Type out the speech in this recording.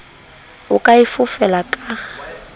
o ka e fofela ka